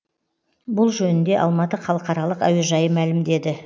бұл жөнінде алматы халықаралық әуежайы мәлімдеді